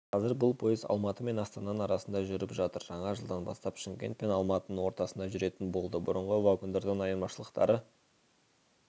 қазір бұл пойыз алматы мен астананың арасында жүріп жатыр жаңа жылдан бастап шымкент пен алматының ортасында жүретін болды бұрынғы вагондардан айырмашылықтары